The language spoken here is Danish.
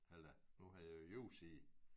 Eller nu havde jeg jo YouSee